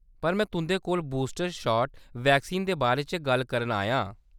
पर में तुंʼदे कोल बूस्टर शाट वैक्सीन दे बारे च गल्ल करन आया आं।